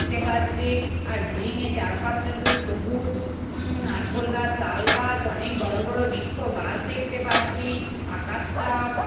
দেখতে পাচ্ছি আর বিল্ডিং এর চারপাশটা শুধু সবুজ উম নারকোল গাছ তালগাছ অনেক বড় বড় বৃক্ষ গাছ দেখতে পাচ্ছি আকাশটাও--